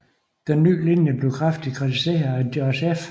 Denne nye linje blev kraftigt kritiseret af George F